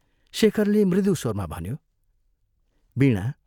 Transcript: शेखरले मृदु स्वरमा भन्यो, " वीणा!